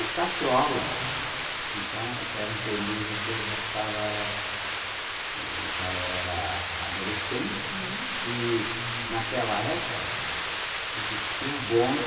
O Castro Alves, então, era um período que eu já estava, eh, já era, adolescente, uhum, e naquela época existia o bonde